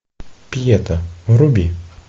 пьета вруби